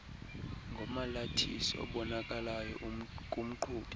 ngomalathisi obonakalayo kumqhubi